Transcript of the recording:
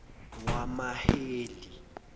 wamaheli